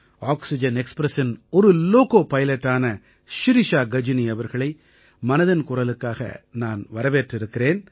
oxygen எக்ஸ்பிரஸின் ஒரு loco பைலட்டான ஷிரிஷா கஜினி அவர்களை மனதின் குரலுக்கு நான் வரவேற்றிருக்கிறேன்